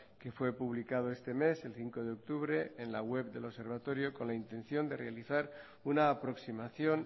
que fue publicado este mes el cinco de octubre en la web del observatorio con la intención de de realizar una aproximación